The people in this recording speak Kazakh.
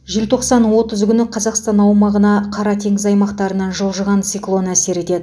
желтоқсан отыз күні қазақстан аумағына қара теңіз аймақтарынан жылжыған циклон әсер етеді